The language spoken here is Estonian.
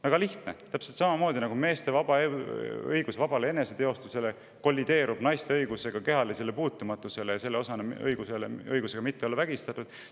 Väga lihtne: täpselt samamoodi, nagu meeste õigus vabale eneseteostusele kollideerub naiste õigusega kehalisele puutumatusele ja selle osana ka õigusega mitte olla vägistatud.